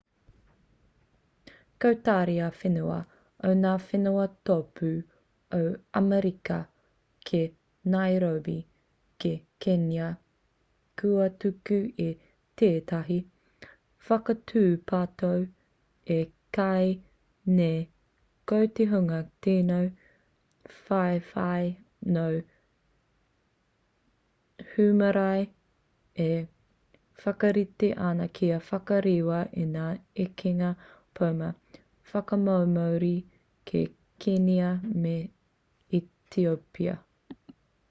ko tari ā-whenua o ngā whenua tōpū o amerika ki nairobi ki kenya kua tuku i tētahi whakatūpato e kī nei ko te hunga tino whawhai nō hūmārie e whakarite ana kia whakarewa i ngā ekenga poma whakamomori ki kenia me etiopia